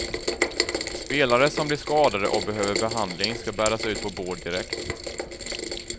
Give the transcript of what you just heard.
Spelare som blir skadade och behöver behandling ska bäras ut på bår direkt.